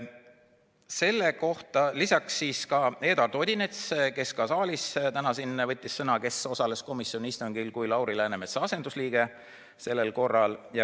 Selle kohta võttis sõna ka Eduard Odinets, kes ka täna siin saalis võttis sõna ja kes osales komisjoni istungil Lauri Läänemetsa asendusliikmena.